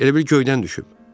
Elə bil göydən düşüb.